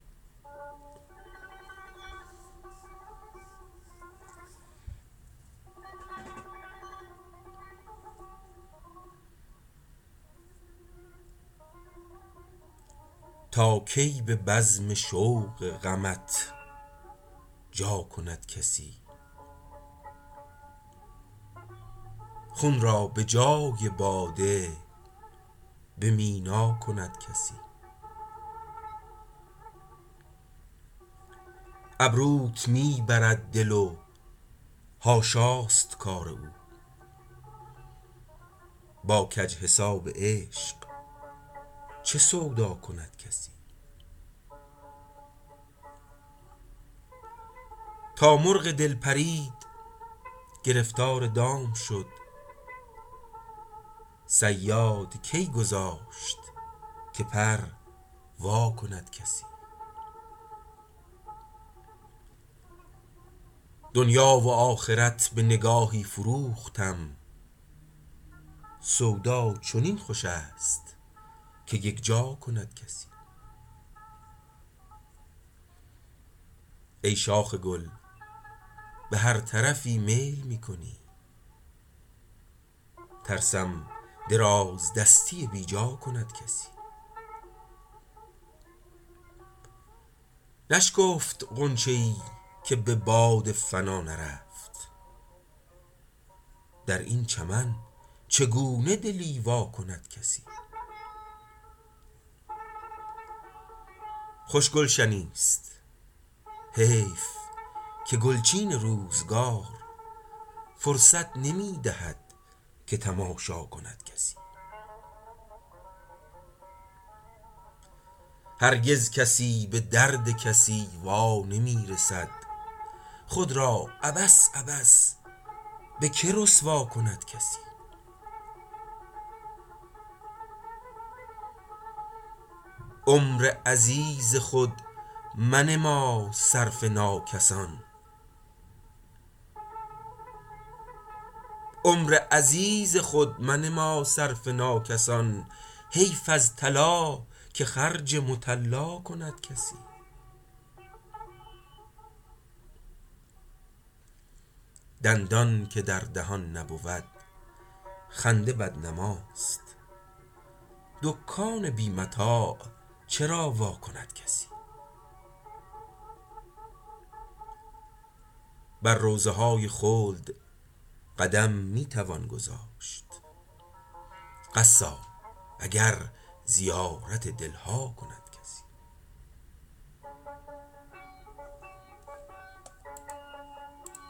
تا کی به بزم شوق غمت جا کند کسی خون را به جای باده به مینا کند کسی ابروت می برد دل و حاشا است کار او با کج حساب عشق چه سودا کند کسی تا مرغ دل پرید گرفتار دام شد صیاد کی گذاشت که پر وا کند کسی دنیا و آخرت به نگاهی فروختم سودا چنین خوش است که یکجا کند کسی ای شاخ گل به هر طرفی میل می کنی ترسم درازدستی بیجا کند کسی نشکفت غنچه ای که به باد فنا نرفت در این چمن چگونه دلی وا کند کسی خوش گلشنی است حیف که گلچین روزگار فرصت نمی دهد که تماشا کند کسی هرگز کسی به درد کسی وا نمی رسد خود را عبث عبث به که رسوا کند کسی عمر عزیز خود منما صرف ناکسان حیف از طلا که خرج مطلا کند کسی دندان که در دهان نبود خنده بدنما است دکان بی متاع چرا وا کند کسی بر روضه های خلد قدم می توان گذاشت قصاب اگر زیارت دل ها کند کسی